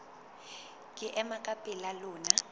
ke ema ka pela lona